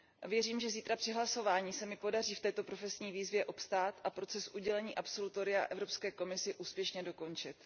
Věřím, že zítra při hlasování se mi podaří v této profesní výzvě obstát a proces udělení absolutoria Evropské komisi úspěšně dokončit.